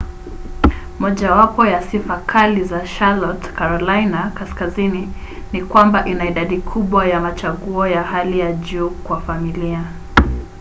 mojawapo ya sifa kali za charlotte carolina kaskazini ni kwamba ina idadi kubwa ya machaguo ya hali ya juu kwa familia